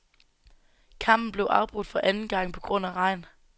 Kampen blev afbrudt for anden gang på grund af regn.